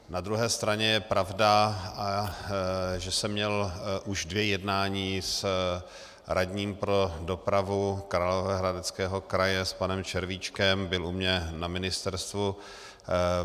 Na druhé straně je pravda, že jsem měl už dvě jednání s radním pro dopravu Královéhradeckého kraje, s panem Červíčkem, byl u mě na ministerstvu.